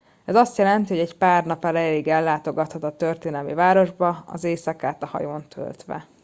ez azt jelenti hogy egy pár nap erejéig ellátogathat a történelmi városba az éjszakát a hajón töltve